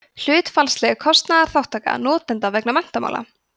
hlutfallsleg kostnaðarþátttaka notenda vegna menntamála